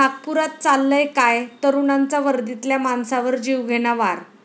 नागपुरात चाललंय काय? तरुणांचा वर्दीतल्या माणसावर जीवघेणा वार